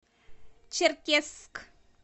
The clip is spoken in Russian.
черкесск